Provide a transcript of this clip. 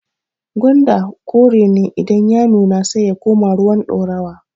gwanda kore ne idan ya nuna sai ya koma ruwan ɗorawa